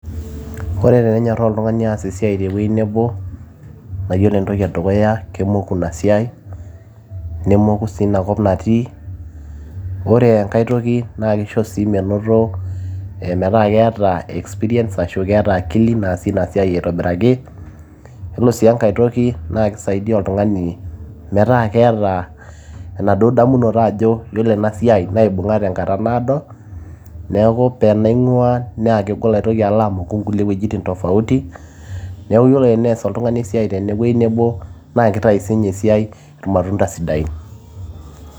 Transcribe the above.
ore tenenyorraa oltung'ani aas esiai tewueji nebo naa yiolo entoki edukuya kemoku ina siai nemoku sii inakop natii ore enkay toki naa kisho sii menoto ee metaa keeta experience ashu keeta akili naasie ina siai aitobiraki yiolo sii enkay toki naa kisaidia oltung'ani metaa keeta enaduo damunoto ajo yiolo ena siai naibung'a tenkata naado neeku tenaing'ua naa kegol alo amoku inkulie wuejitin tofauti niaku yiolo tenees oltung'ani esiai tenewueji nebo naa kitai siinye esiai irmatunda sidain.